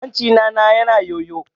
Hancina na yana yayyo.